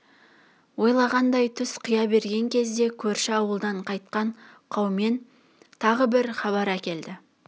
ойлағандай түс қия берген кезде көрші ауылдан қайтқан қаумен тағы бір хабар әкелді